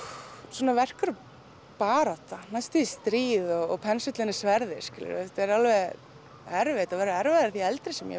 svona verk eru barátta næstum því stríð og pensillinn er sverðið þetta er erfitt og verður erfiðara því eldri sem ég